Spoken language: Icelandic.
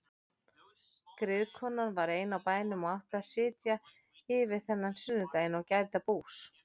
Griðkonan var ein á bænum og átti að sitja yfir þennan sunnudaginn og gæta bús.